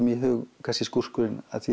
í hug kannski skúrkurinn af því